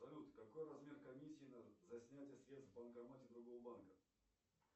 салют какой размер комиссии за снятие средств в банкомате другого банка